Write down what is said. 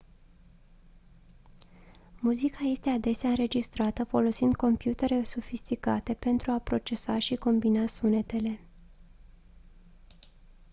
muzica este adesea înregistrată folosind computere sofisticate pentru a procesa și combina sunetele